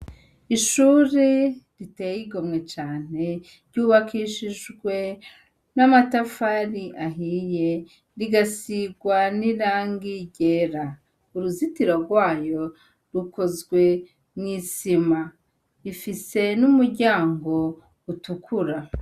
Ishure riteye igomwe cane, ry'ubakishijwe n'amatafari ahiye, rigasirwa n'irangi ryera. Uruzitiro rwayo rukozwe mu isima, rifise n'umuryango utukura.